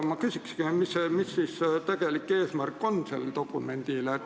Ma küsikski, et mis selle dokumendi tegelik eesmärk on.